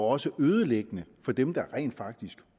også ødelæggende for dem der rent faktisk